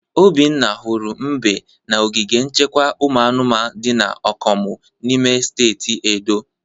Obinna hụrụ mbe na ogige nchekwa ụmụ anụmanụ dị na Okomu n'ime steeti Edo.